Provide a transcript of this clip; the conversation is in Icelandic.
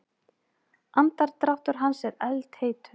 Andardráttur hans er eldheitur.